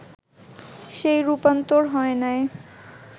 সেই রূপান্তর হয় নাই